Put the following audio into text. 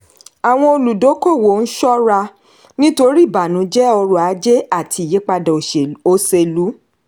àwọn olùdókòwò ń ṣọ́ra nítorí ìbànújẹ ọrọ̀ ajé àti ìyípadà oselú.